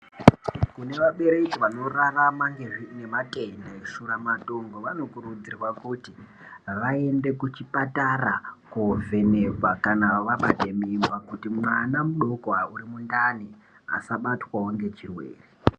Kune vabereki vanorarama ngematenda eshiramatongo, vanokurudzirwa kuti vaende kuchipatara kovhenekwa kana vabate mimba. Kuti mwana mudoko uri mundani asabatwavo ngechirwere.